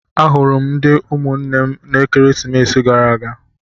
Ahụrụ ndị ụmụnna m n'ekeresimesi gara aga.